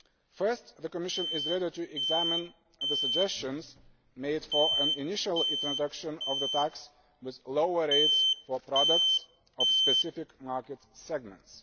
First, the Commission is ready to examine the suggestions made for an initial introduction of the tax with lower rates for products of specific market segments.